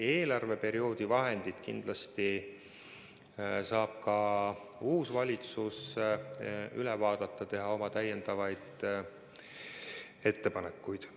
Eelarveperioodi vahendid saab kindlasti ka uus valitsus üle vaadata ja teha oma ettepanekud.